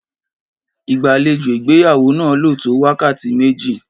Ìgbàlejò ìgbéyàwó náà lò tó wákàtí méjì.